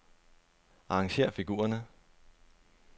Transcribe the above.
Arrangér figurerne.